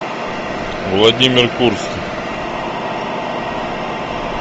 владимир курск